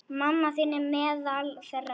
Mamma þín er meðal þeirra.